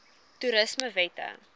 toerismewette